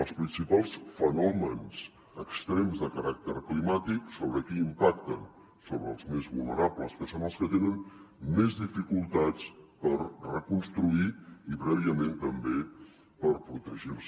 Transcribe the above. els principals fenòmens extrems de caràcter climàtic sobre qui impacten sobre els més vulnerables que són els que tenen més dificultats per reconstruir i prèviament també per protegir se